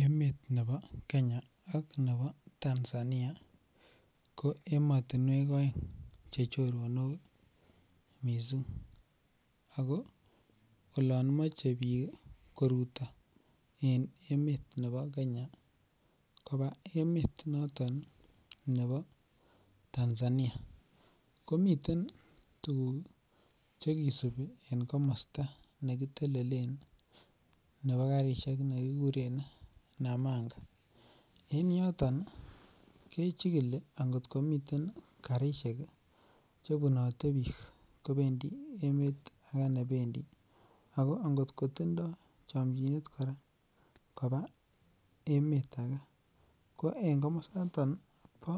Emet nebo Kenya ak nebo Tanzania ko emotunwek oeng chechoronok missing ako olon moche bik koruto en emet nebo Kenya koba emet noton nebo Tanzania komiten tukuk chekisibi en komosto nekitelelen nebo karishek nekikuren Nananga , en yoton kechikil angotko miten karishek che bunote bik kopendii emet age nependii ako angotko tindoi chomchinet koba emet age ko en komositon bo